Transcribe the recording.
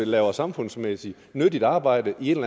laver samfundsmæssigt nyttigt arbejde i en